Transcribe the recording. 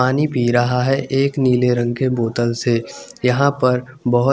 पानी पि रहा है एक नीले रंग के बोतल से यहा पर बोहोत --